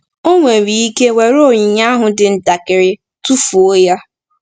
Ọ nwere ike were onyinye ahụ dị ntakịrị, tụfuo ya.